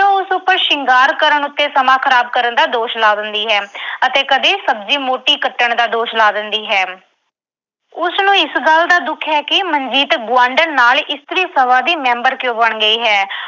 ਉਹ ਉਸ ਉੱਪਰ ਸ਼ਿੰਗਾਰ ਕਰਨ ਉੱਤੇ ਸਮਾਂ ਖ਼ਰਾਬ ਕਰਨ ਦਾ ਦੋਸ਼ ਲਾ ਦਿੰਦੀ ਹੈ ਅਤੇ ਕਦੇ ਸਬਜ਼ੀ ਮੋਟੀ ਕੱਟਣ ਦਾ ਦੋਸ਼ ਲਾ ਦਿੰਦੀ ਹੈ। ਉਸਨੂੰ ਇਸ ਗੱਲ ਦਾ ਦੁੱਖ ਹੈ ਕਿ ਮਨਜੀਤ ਗੁਆਂਢਣ ਨਾਲ ਇਸਤਰੀ ਸਭਾ ਦੀ ਮੈਂਬਰ ਕਿਉਂ ਬਣ ਗਈ ਹੈ।